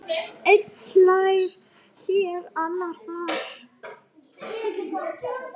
Einn hlær hér, annar þar.